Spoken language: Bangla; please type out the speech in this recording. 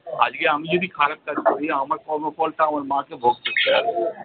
আজকে আমি যদি খারাপ কাজ করি আমার কর্মফলটা আমার মাকে ভোগ করতে হবে।